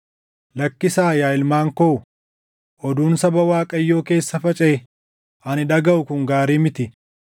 Lakkisaa yaa ilmaan koo; oduun saba Waaqayyoo keessa facaʼee ani dhagaʼu kun gaarii miti.